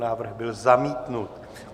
Návrh byl zamítnut.